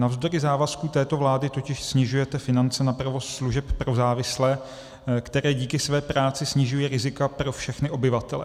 Navzdory závazku této vlády totiž snižujete finance na provoz služeb pro závislé, které díky své práci snižují rizika pro všechny obyvatele.